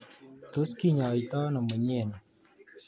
Tos kinyotoi ano mnyeni?